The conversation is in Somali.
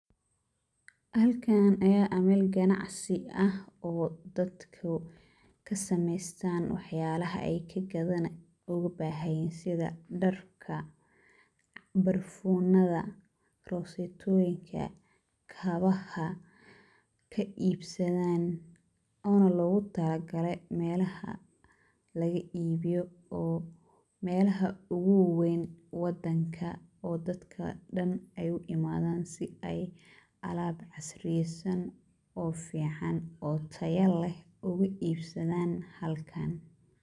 Halkaan ayaa ah meel ganacsi ah oo dadku ka samaystaan wax yaalaha ay ka gadanayaan, ugu bahan yihiin sida; dharka, barfuunada, rosatooyinka, kabaha, ka iibsadaan oona loogu talagalay meelaha laga iibiyo oo meelaha ugu waweyn wadanka oo dadka dhan ay u imaadaan si ay alaab casriyaysan oo ficaan oo taya leh ugu iibsadaan halkan.